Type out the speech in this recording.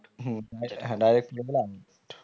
হম হম হ্যাঁ direct পরে গেলে out